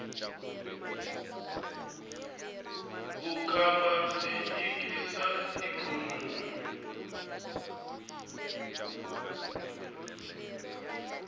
vukhamba byi chikisa ikhonomi